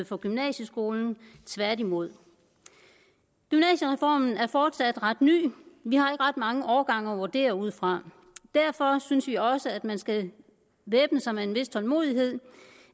for gymnasieskolen tværtimod gymnasiereformen er fortsat ret ny vi har ikke ret mange årgange at vurdere den ud fra derfor synes vi også at man skal væbne sig med en vis tålmodighed